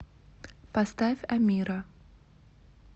поставь амира